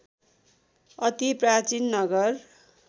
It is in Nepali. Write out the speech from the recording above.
अति प्राचीन नगर